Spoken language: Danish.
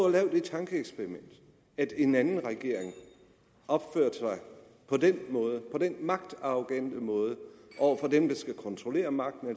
at lave det tankeeksperiment at en anden regering opførte sig på den måde på den magtarrogante måde over for dem der skal kontrollere magten